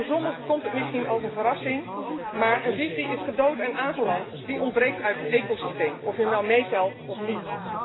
Voor sommigen komt het misschien als een verrassing, maar een vis die is gedood en aangeland, ontbreekt uit het ecosysteem, of je hem nu meetelt of niet.